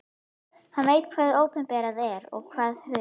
Hann veit hvað opinberað er og hvað hulið.